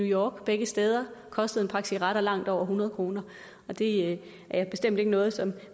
york begge steder koster en pakke cigaretter langt over hundrede kroner det er bestemt ikke noget som vi